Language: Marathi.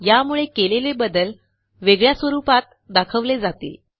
यामुळे केलेले बदल वेगळ्या स्वरूपात दाखवले जातील